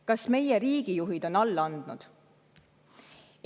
Kas meie riigijuhid on alla andnud?